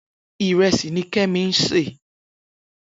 Irèsí ni Kemi n sé